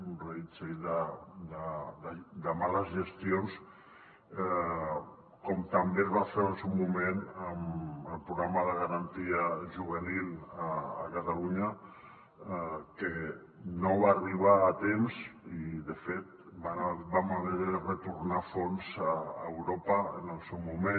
un reguitzell de males gestions com també es va fer en el seu moment amb el programa de garantia juvenil a catalunya que no va arribar a temps i de fet vam haver de retornar fons a europa en el seu moment